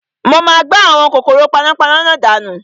Mo máa gbá àwọn kòkòrò panápaná náà dànù